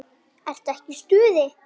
Ertu ekki í stuði?